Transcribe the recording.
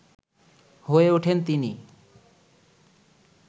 হয়ে ওঠেন তিনি